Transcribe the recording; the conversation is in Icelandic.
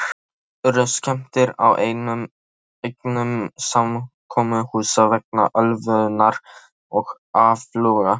Oft urðu skemmdir á eignum samkomuhúsa vegna ölvunar og áfloga.